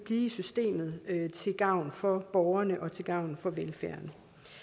i systemet til gavn for borgerne og til gavn for velfærden